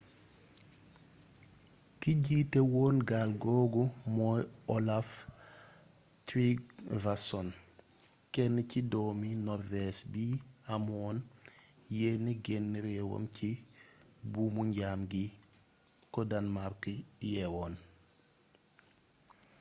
ki jiite woon gaal googu mooy olaf trygvasson kenn ci doomi norvége bi amoon yéene génne réewam ci buumu njaam gi ko danmàrk yeewoon